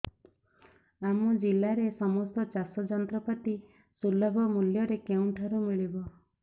ଆମ ଜିଲ୍ଲାରେ ସମସ୍ତ ଚାଷ ଯନ୍ତ୍ରପାତି ସୁଲଭ ମୁଲ୍ଯରେ କେଉଁଠାରୁ ମିଳିବ